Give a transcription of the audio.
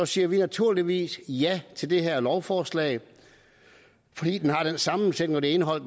siger vi naturligvis ja til det her lovforslag fordi det har den sammensætning og det indhold